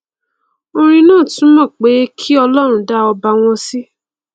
orin náà túmọ pé kí ọlọrun dá ọba wọn sí o